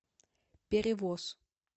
перевоз